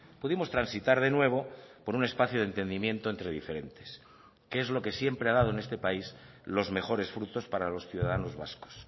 pudimos transitar de nuevo por un espacio de entendimiento entre diferentes que es lo que siempre ha dado en este país los mejores frutos para los ciudadanos vascos